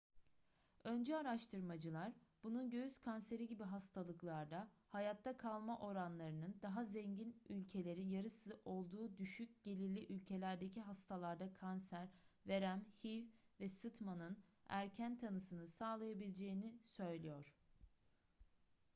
öncü araştırmacılar bunun göğüs kanseri gibi hastalıklarda hayatta kalma oranlarının daha zengin ülkelerin yarısı olduğu düşük gelirli ülkelerdeki hastalarda kanser verem hiv ve sıtmanın erken tanısını sağlayabileceğini söylüyor